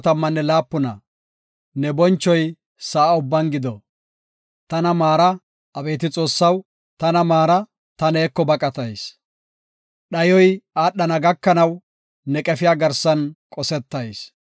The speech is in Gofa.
Tana maara; abeeti Xoossaw, tana maara; ta neeko baqatayis. Dhayoy aadhana gakanaw, ne qefiya garsan qosetayis.